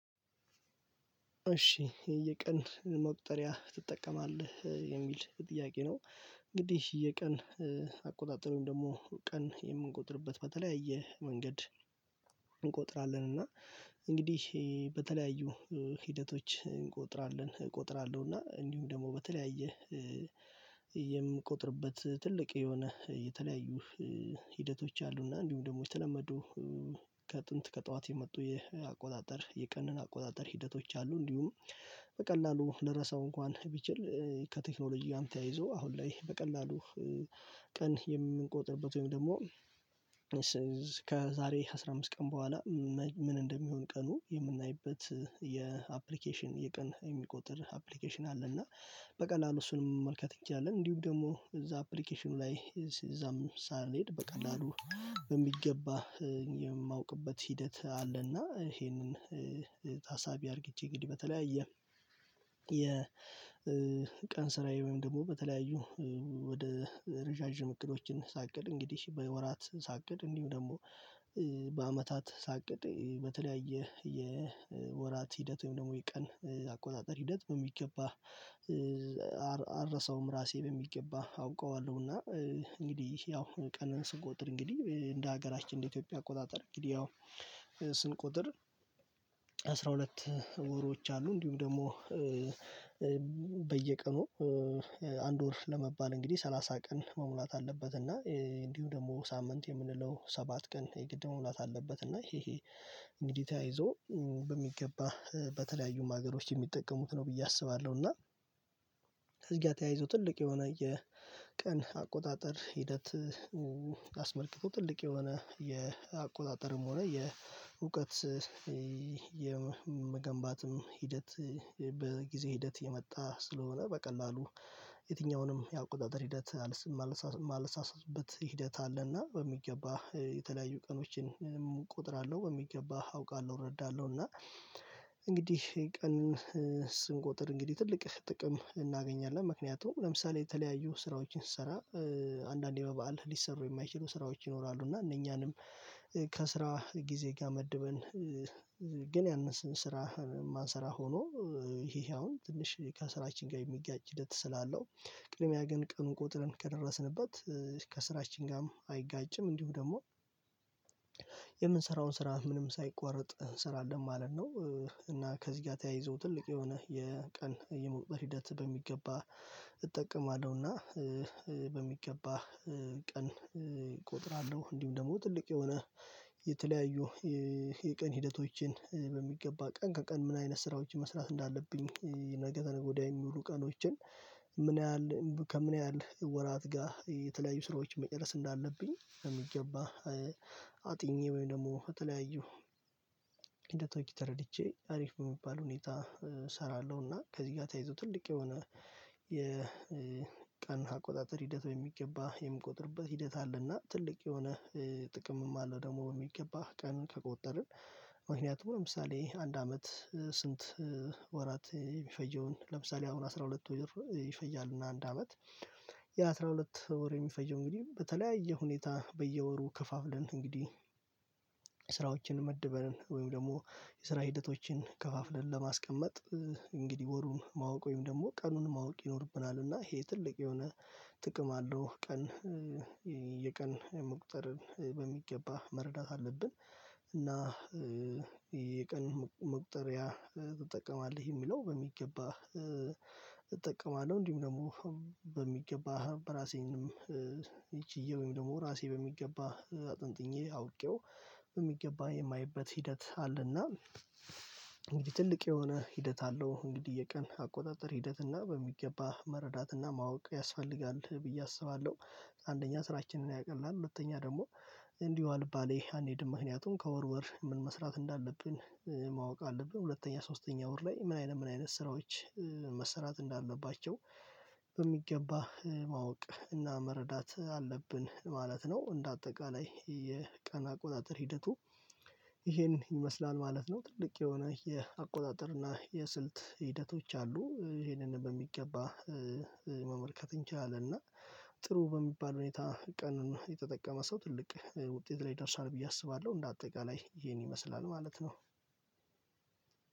እሺ የቀን መቁጠሪያ ትጠቀማለህ የሚል ጥያቄ ነው? እንግዲህ የቀን አቆጣጠሩን ደግሞ ቀን የምንቆጥርበት በተለያየ መንገድ። እንቆጥራለን እና እንግዲህ በተለያዩ ሂደቶች እንቆጥራለን እቆጥራለሁ እና እንዲሁም ደግሞ በተለያየ የምቆጥርበት ትልቅ የሆነ የተለያዩ ሂደቶች አሉና። እንዲሁም ደግሞ የተለመዱ ከጥንት ከጠዋት የመጡ አቆጣጠር የቀን አቆጣጠር ሂደቶች አሉ። እንዲሁም በቀላሉ ልረሳው እንኳን ቢችል ከቴክኖሎጂውም ጋር ተያይዞ አሁን ላይ በቀላሉ ቀን የምንቆጥርበት ወይም ደግሞ ከዛሬ አስራ አምስት ቀን በኋላ ምን እንደሚሆን ቀኑ የምናይበት የአፕሊኬሽን የቀን የሚቆጥር አፕሊኬሽን አለ። እና በቀላሉ እሱንም መልከት ይቻላል እንዲሁ ደግሞ እዛ አፕሊኬሽኑ ላይ እዛም ሳልሄድ በቀላሉ በሚገባ የማውቅበት ሂደት አለና። ይሄንን ታሳቢ አድርጌ እንግዲህ በተለያየ የቀን ስራዬ ወይም ደግሞ በተለያዩ ወደ ረዣዥም እቅዶችን ሳቅድ እንግዲህ በወራት ሳቅድ እንዲሁ ደግሞ በአመታት ሳቅድ በተለያየ የወራት ሂደት ወይም ደግሞ የቀን አቆጣጠር ሂደት በሚገባ አልረሳውም። ራሴ በሚገባ አውቀዋለሁና እንግዲህ ያው ቀንን ስንቆጥር እንግዲህ እንደ ሀገራችን እንደ ኢትዮጵያ አቆጣጠር እንግዲህ ያው ስንቆጥር አስራ ሁለት ወሮች አሉ እንዲሁም ደግሞ በየቀኑ አንድ ወር ለመባል እንግዲህ ሰላሳ ቀን መሙላት አለበት። እና እንዲሁ ደግሞ ሳምንት የምንለው ሰባት ቀን የግድ መሙላት አለበት። እና ይሄ እንግዲህ ተያይዞ በሚገባ በተለያዩም ሀገሮች የሚጠቀሙት ነው ብዬ አስባለሁ። እና ከዚህ ጋር ተያይዞ ትልቅ የሆነ የቀን አቆጣጠር ሂደት። አስመልክቶ ትልቅ የሆነ የአቆጣጠርም ሆነ የእውቀት የመገንባትም ሂደት በጊዜ ሂደት የመጣ ስለሆነ በቀላሉ የትኛውንም ያቆጣጠር ሂደት የማልሳሳትበት ሂደት አለና በሚገባ የተለያዩ ቀኖችን እቆጥራለሁ በሚገባ አውቃለሁ እረዳለሁ እና እንግዲህ ቀንን ስንቆጥር እንግዲህ ትልቅ ጥቅም እናገኛለን። ምክንያቱም ለምሳሌ የተለያዩ ስራዎችን ስሰራ አንዳንዴ በበዓል ሊሰሩ የማይችሉ ስራዎች ይኖራሉ። እና እነኛንም ከስራ ጊዜ ጋር መድበን ግን ያንን ስራ ማንሰራ ሆኖ ይሄ ይሄ አሁን ትንሽ ከስራችን ጋር የሚጋጭ ሂደት ስላለው ቅድሚያ ግን ቀኑን ቆጥረን ከደረስንበት ከስራችን ጋርም አይጋጭም። እንዲሁም ደግሞ የምንሰራውን ስራ ምንም ሳይቆራረጥ እንሰራለን ማለት ነው። እና ከዚህ ጋር ተያይዞ ትልቅ የሆነ የቀን የመቁጠር ሂደት በሚገባ እጠቀማለሁና በሚገባ ቀን እቆጥራለሁ። እንዲሁም ደግሞ ትልቅ የሆነ የተለያዩ የቀን ሂደቶችን በሚገባ ቀን ከቀን ምን አይነት ስራዎችን መስራት እንዳለብኝ ነገ ወዲያውኑ ቀኖችን ምን ያህል ከምን ያህል ወራት የተለያዩ ስራዎች መጨረስ እንዳለብኝ በሚገባ አጥንቼ ወይም ደግሞ የተለያዩ እንደ ቶኪ ተረድቼ አሪፍ በሚባል ሁኔታ እሰራለሁና ከዚህ ጋር ተይዞ ትልቅ የሆነ የቀን አቆጣጠር ሂደት በሚገባ የሚቆጥርበት ሂደት አለና ትልቅ የሆነ ጥቅምም አለው። ደግሞ የሚገባህ ቀን ከቆጠርን ምክንያቱም ለምሳሌ አንድ አመት ስንት ወራት የሚፈጀውን ለምሳሌ አሁን አስራ ሁለት ወር ይፈጃል። እና አንድ አመት የአስራ ሁለት የሚፈጀው እንግዲህ በተለያየ ሁኔታ በየወሩ ከፋፍለን እንግዲህ ስራዎችን መድበን ወይም ደግሞ የስራ ሂደቶችን ከፋፍለን ለማስቀመጥ እንግዲህ ወሩን ማወቅ ወይም ደግሞ ቀኑን ማወቅ ይኖርብናል። እና ይሄ ትልቅ የሆነ ጥቅም አለው ቀን የቀን መቁጠር በሚገባ መረዳት አለብን። እና የቀን መቁጠርያ ትጠቀማለህ የሚለው በሚገባ እጠቀማለሁ። እንዲሁም ደግሞ በሚገባ በራሴም ችዬ ወይም ደግሞ ራሴ በሚገባ አጥንጥኜ አውቄው በሚገባ የማየበት ሂደት አለና። እንግዲህ ትልቅ የሆነ ሂደት አለው እንግዲህ የቀን አቆጣጠር ሂደትና በሚገባ መረዳት እና ማወቅ ያስፈልጋል ብዬ አስባለሁ። አንደኛ ስራችንን ያቀላል ሁለተኛ ደግሞ እንዲሁ አልባሌ አንሄድም ምክንያቱም ከወር ወር ምን መስራት እንዳለብን ማወቅ አለብን። ሁለተኛ ሶስተኛ ወር ላይ ምን አይነት ምን አይነት ስራዎች መሰራት እንዳለባቸው በሚገባ ማወቅ እና መረዳት አለብን ማለት ነው። እንደ አጠቃላይ የቀን አቆጣጠር ሂደቱ ይሄን ይመስላል ማለት ነው። ትልቅ የሆነ የአቆጣጠር እና የስልት ሂደቶች አሉ ይሄንን በሚገባ መመልከት እንችላለን። እና ጥሩ በሚባል ሁኔታ ቀን የተጠቀመ ሰው ትልቅ ውጤት ላይ ደርሷል ብዬ አስባለሁ። እንደ አጠቃላይ ይሄን ይመስላል ማለት ነው።